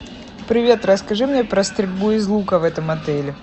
привет расскажи мне про стрельбу из лука в этом отеле